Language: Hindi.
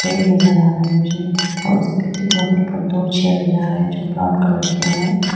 फैन नजर आ रहा है मुझे और उसके ठीक बगल प दो चेयर नजर आ रहा है जो ब्राउन कलर के हैं।